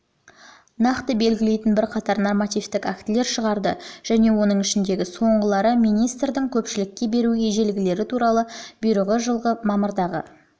нақты процедураларды белгілейтін бірқатар нормативтік актілер шығарды оның ішіндегі соңғылары министрдің көпшілікке беру ережелері туралы бұйрығы жылғы мамырдағы